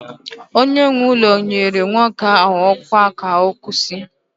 onye nwe ụlọ nyere nwoke ahụ ọkwa ka ọ kwụsị